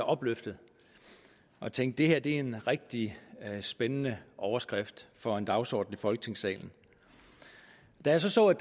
opløftet jeg tænkte det her er en rigtig spændende overskrift for en dagsorden i folketingssalen da jeg så så at